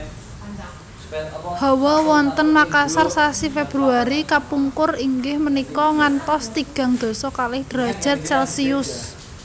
Hawa wonten Makasar sasi Februari kapungkur inggih menika ngantos tigang dasa kalih derajat celcius